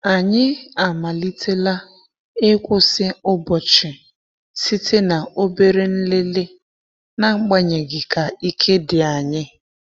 Anyị amalitela ịkwụsị ụbọchị site na obere nlele, na-agbanyeghi ka ike di anyi.